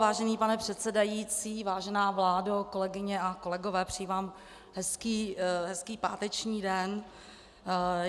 Vážený pane předsedající, vážená vládo, kolegyně a kolegové, přeji vám hezký páteční den.